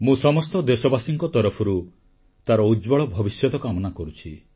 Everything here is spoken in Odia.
ମୁଁ ସମସ୍ତ ଦେଶବାସୀଙ୍କ ତରଫରୁ ତାର ଉଜ୍ଜ୍ୱଳ ଭବିଷ୍ୟତ କାମନା କରୁଛି